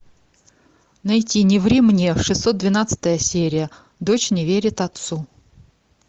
найти не ври мне шестьсот двенадцатая серия дочь не верит отцу